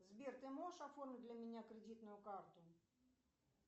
сбер ты можешь оформить для меня кредитную карту